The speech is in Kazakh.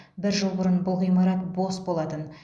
бір жыл бұрын бұл ғимарат бос болатын